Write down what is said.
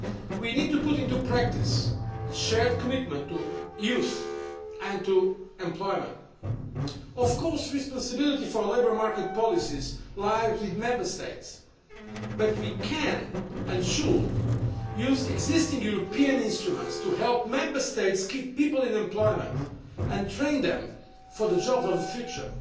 We need to put into practice the shared commitment to youth and to employment. Of course, responsibility for labour market policies lies with Member States, but we can and should use existing European instruments to help Member States keep people in employment and train them for the jobs of the future.